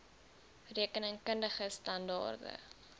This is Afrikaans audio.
rekening kundige standaarde